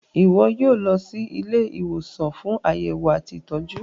iwọ yíò lọ sì Ilé ìwòsàn fún Àyẹwò àti ìtọjú.